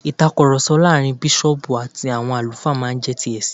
ìtakùròsọ láàrin bísọ̀ọ̀bù àti àwọn àlùfáà má n jé ti ẹ̀sìn